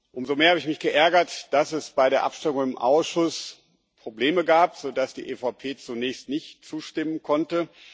Umso mehr habe ich mich geärgert, dass es bei der Abstimmung im Ausschuss Probleme gab, sodass die EVP zunächst nicht zustimmen konnte.